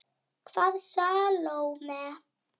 Hvaða Salóme?